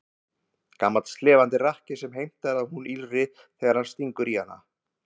Gamall slefandi rakki sem heimtar að hún ýlfri þegar hann stingur í hana.